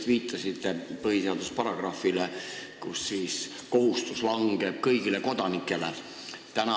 Te viitasite just põhiseaduse paragrahvile, millega langeb see kohustus kõigile kodanikele.